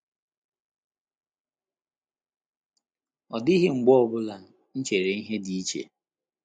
Ọ dịghị mgbe ọ bụla m chere ihe dị iche.